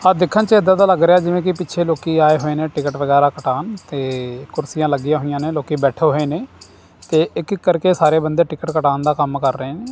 ਆ ਦੇਖਣ ਚ ਇਦਾਂ ਦਾ ਲੱਗ ਰਿਹਾ ਜਿਵੇਂ ਕਿ ਪਿੱਛੇ ਲੋਕੀ ਆਏ ਹੋਏ ਨੇ ਟਿਕਟ ਵਗੈਰਾ ਕਟਾਉਣ ਤੇ ਕੁਰਸੀਆਂ ਲੱਗੀਆਂ ਹੋਈਆਂ ਨੇ ਲੋਕੀ ਬੈਠੇ ਹੋਏ ਨੇ ਤੇ ਇੱਕ ਇੱਕ ਕਰਕੇ ਸਾਰੇ ਬੰਦੇ ਟਿਕਟ ਕਟਾਉਣ ਦਾ ਕੰਮ ਕਰ ਰਹੇ ਨੇ।